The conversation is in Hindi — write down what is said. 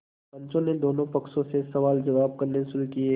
पंचों ने दोनों पक्षों से सवालजवाब करने शुरू किये